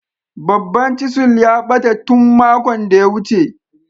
Babban "chisel " a bata tun makon da ya wuce.